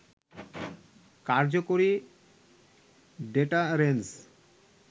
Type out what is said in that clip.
কার্যকরী ডেটারেন্স